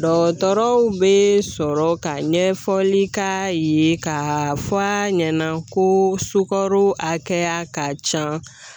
Dɔgɔtɔrɔw be sɔrɔ ka ɲɛfɔli k'a ye ka fɔ a ɲɛna ko sugoro hakɛya ka ca